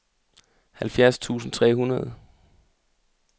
halvfjerds tusind tre hundrede